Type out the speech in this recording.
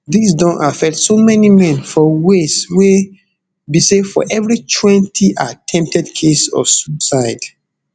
dis don affect so many men for ways wey be say for evri twenty attempted case of suicide